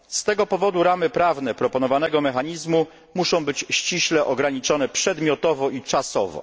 Z tego powodu ramy prawne proponowanego mechanizmu muszą być ściśle ograniczone przedmiotowo i czasowo.